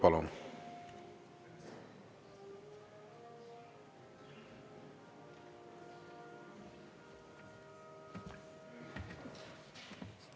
Palun!